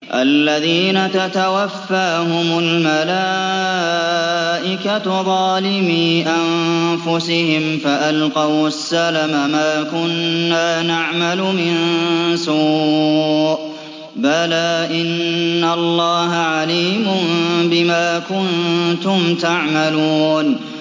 الَّذِينَ تَتَوَفَّاهُمُ الْمَلَائِكَةُ ظَالِمِي أَنفُسِهِمْ ۖ فَأَلْقَوُا السَّلَمَ مَا كُنَّا نَعْمَلُ مِن سُوءٍ ۚ بَلَىٰ إِنَّ اللَّهَ عَلِيمٌ بِمَا كُنتُمْ تَعْمَلُونَ